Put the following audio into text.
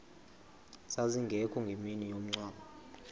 zazingekho ngemini yomngcwabo